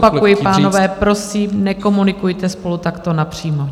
Znovu opakuji, pánové, prosím, nekomunikujte spolu takto napřímo.